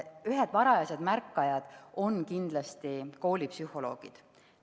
Ühed varajased märkajad on kindlasti koolipsühholoogid.